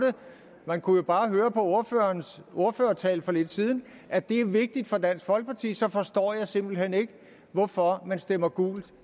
man kunne jo bare høre på ordførerens ordførertale for lidt siden at det er vigtigt for dansk folkeparti så forstår jeg simpelt hen ikke hvorfor man stemmer gult